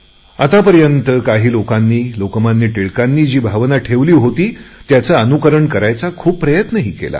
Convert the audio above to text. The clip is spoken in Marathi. आतापर्यंत काही लोकांनी लोकमान्य टिळकांनी जी भावना ठेवली होती त्याचे अनुकरण करायचा खूपसा प्रयत्नही केला आहे